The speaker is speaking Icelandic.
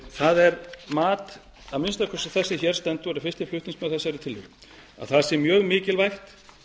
það er mat að minnsta kosti þess sem hér stendur og er fyrsti flutningsmaður að þessari tillögu að það sé mjög mikilvægt